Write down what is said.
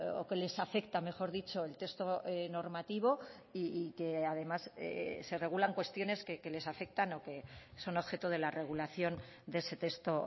o que les afecta mejor dicho el texto normativo y que además se regulan cuestiones que les afectan o que son objeto de la regulación de ese texto